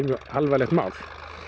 mjög alvarlegt mál